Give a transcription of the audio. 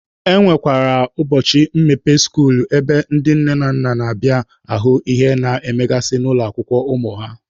E nwekwara ụbọchị mmepe skuulu ebe ndị nne na nna na-abịa ahụ ihe a na-emegasị n'ụlọ akwụkwọ ụmụ ha.